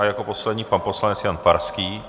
A jako poslední pan poslanec Jan Farský.